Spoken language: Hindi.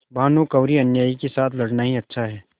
भानुकुँवरिअन्यायी के साथ लड़ना ही अच्छा है